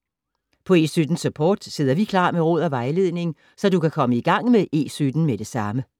På E17-Support sidder vi klar med råd og vejledning, så du kan komme i gang med E17 med det samme.